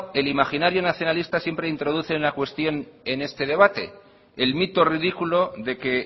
el imaginario nacionalista siempre introduce una cuestión en este debate el mito ridículo de que